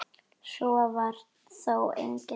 Svo var þó eigi.